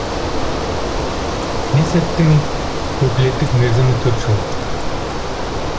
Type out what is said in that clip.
кнесеттің өкілеттік мерзімі төрт жыл